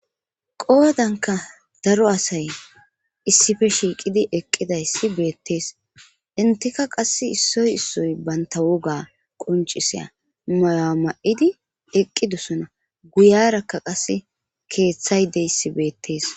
qoodanka daro asay issife shiiqidi eqqidayssi beettees intika qass issoy issoy banta woga qoncisiya maya ma7idi eqqidosona guyarakka qasse keeththay deyssi beettees